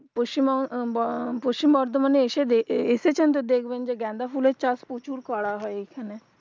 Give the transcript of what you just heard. পশ্চিমব পশ্চিম বর্ধমান এ এসে দে এসেছেন তো দেখবেন যে গাঁদা ফুল এর চাষ প্রচুর করা হয় এখানে